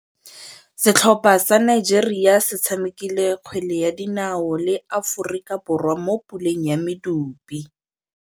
Setlhopha sa Nigeria se tshamekile kgwele ya dinaô le Aforika Borwa mo puleng ya medupe.